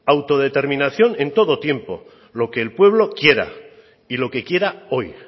autodeterminación en todo tiempo lo que el pueblo quiera y lo que quiera hoy